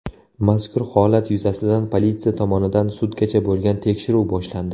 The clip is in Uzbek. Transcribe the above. Mazkur holat yuzasidan politsiya tomonidan sudgacha bo‘lgan tekshiruv boshlandi.